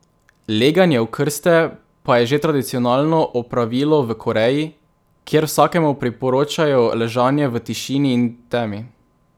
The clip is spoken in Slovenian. Leganje v krste pa je že tradicionalno opravilo v Koreji, kjer vsakemu priporočajo ležanje v tišini in temi.